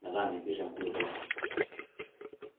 metaa mepir enkulukoni.